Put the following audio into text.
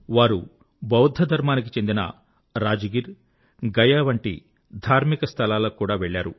వారు బౌద్ధ ధర్మానికి చెందిన రాజ్ గిర్ గయ వంటి ధార్మిక స్థలాలకు కూడా వెళ్ళారు